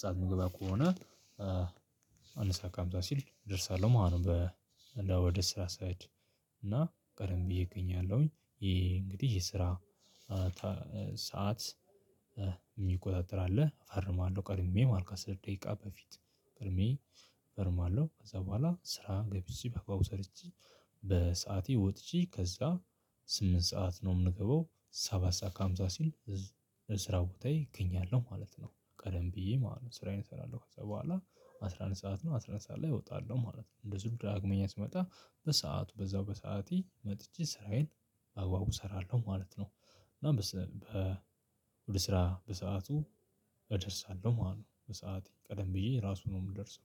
ሰዓት ምገባ ከሆነ አንድ ሰዓት ከሃምሳ ሲል እደርሳለው ማለት ነው። ወደ ስራ ስሄድ እና ቀደም ብዬ እገኛለሁኝ። የስራ ሰዓት የሚቆጣጠር አለ እፈርማለሁ ቀድሜ ማለት ነው። ከአስር ደቂቃ በፊት ቀድሜ እፈርማለሁ ከዛ በኋላ ስራ ገብቼ በአግባቡ ሰርቼ በሰአቴ ወጥቼ ከዛ ስምንት ሰዓት ነው። የምንገባው ሰባት ሰዓት ከሃምሳ ሲል ስራ ቦታዬ እገኛለሁ ማለት ነው። ቀደም ብዬ ማለት ነው። ስራዬን እሰራለሁ ከዛ በኋላ አስራ አንድ ሰዓት ነው አስራ አንድ ሰዓት ላይ እወጣለሁ ማለት ነው። እንደዚሁ ዳግመኛ ስመጣ በሰአቱ በዛው በሰአቴ መጥቼ ስራዬን በአግባቡ እሰራለሁ ማለት ነው። እና ወደ ስራ በሰአቱ እደርሳለሁ ማለት ነው። በሰአቴ ቀደም ብዬ ራሱ ነው የምደርሰው።